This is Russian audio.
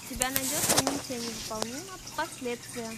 у тебя найдется миссия невыполнима последствия